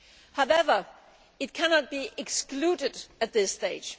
However, it cannot be excluded at this stage.